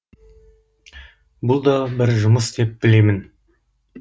бұл да бір жұмыс деп білемін